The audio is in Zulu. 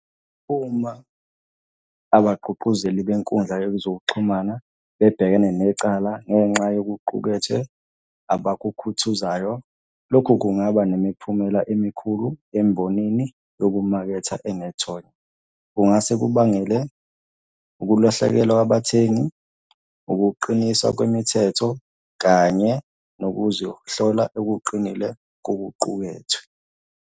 Uma abagqugquzeli benkundla yezokuxhumana bebhekene necala ngenxa yokuqukethwe abakukhuthuzayo. Lokhu kungaba nemiphumela emikhulu embonini yokumaketha enethonya. Kungase kubangele ukulahlekelwa kwabathengi, ukuqiniswa kwemithetho, kanye nokuzohlola okuqinile kokuqukethwe.